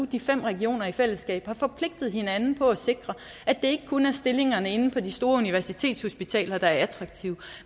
de fem regioner i fællesskab har forpligtet hinanden på at sikre at det ikke kun er stillingerne inden for de store universitetshospitaler der er attraktive